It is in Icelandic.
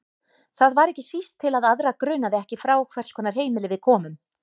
Það var ekki síst til að aðra grunaði ekki frá hvers konar heimili við komum.